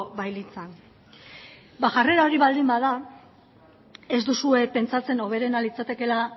bailitzan ba jarrera hori baldin bada ez duzue pentsatzen hoberena litzatekeela